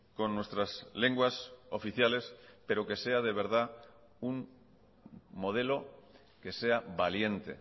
con nuestras lenguas oficiales pero que sea de verdad un modelo que sea valiente